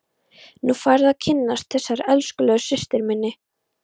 Nú færðu að kynnast þessari elskulegu systur minni!